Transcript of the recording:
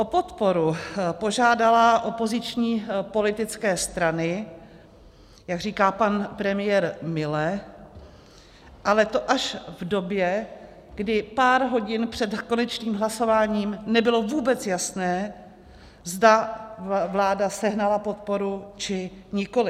O podporu požádala opoziční politické strany, jak říká pan premiér mile, ale to až v době, kdy pár hodin před konečným hlasováním nebylo vůbec jasné, zda vláda sehnala podporu, či nikoliv.